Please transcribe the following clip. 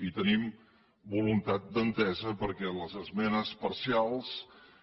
i tenim voluntat d’entesa perquè les esmenes parcials